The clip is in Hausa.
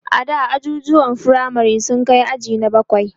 ada ajujuwan firamare sun Kai aji na bakwai